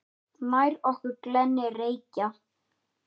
Nær okkur glennir Reykja